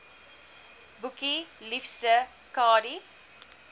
boekie liefste kadie